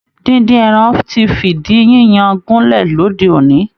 Díndín ẹran ti fìdí yíyan gúnlẹ̀ lóde òní